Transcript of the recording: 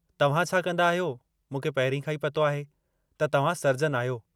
तव्हां छा कंदा आहियो, मूंखे पहिरीं खां ई पतो आहे त तव्हां सर्जन आहियो।